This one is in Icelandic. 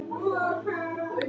Er hún þá ekki.?